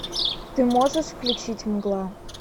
ты можешь включить мгла